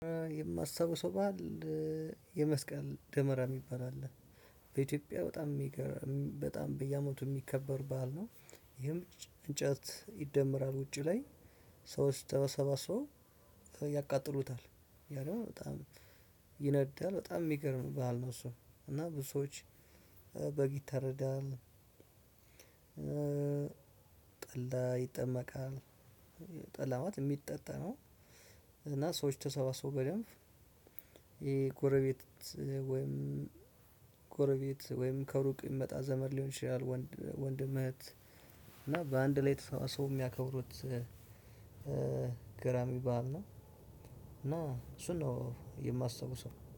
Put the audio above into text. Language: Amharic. የማስታውሰው ባህል የመስቀል ደመራ የሚባል አለ በኢትዮጵያ በጣም የሚገርም በጣም በየአመቱ የሚከበር ባል ነው። ይህም እንጨት ይደመራል ውጪ ላይ ሰዎች ተሰባስበው ያቃጥሉታል ያ በጣም ይነዳል በጣም የሚገርም ባህል ነው። እሱ እና ብዙ ሰዎች በግ ይታረዳል። ጠላ ይጠመቃል ጠላ ማለት የሚጠጣ ነው። እና ሰዎች ተሰባሰቡ በደንብ ጎረቤት ወይም ጎረቤት ወይም ከሩቅ ይመጣ ዘመድ ሊሆን ይችላል። ወንድም እህት እና በአንድ ላይ ተሰባስበው የሚያከብሩት። ግራሚ ባህል ነው እና እሱን ነው የማስተውሰው